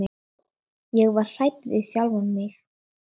Ég var hrædd við sjálfa mig.